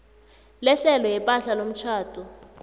lehlelo lepahla yomtjhado